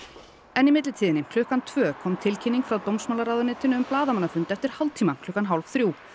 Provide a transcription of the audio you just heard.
en í millitíðinni klukkan tvö kom tilkynning frá dómsmálaráðuneytinu um blaðamannafund eftir hálftíma klukkan hálf þrjú